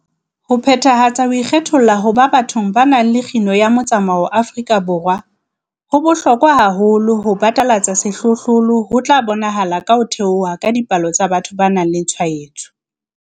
Ho phethahatsa ho ikgetholla ho ba bathong ba bang le kgino ya motsamao Afrika Borwa ho bohlokwa haholo ho batalatsa sehlohlolo, ho tla bonahalang ka ho theoha ha dipalo tsa batho ba nang le tshwaetso.